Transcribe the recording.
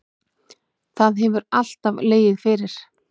Það hefur alltaf legið fyrir